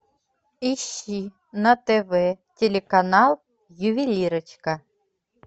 ищи на тв телеканал ювелирочка